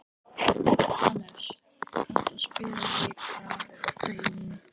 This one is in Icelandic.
Hannes, kanntu að spila lagið „Grafir og bein“?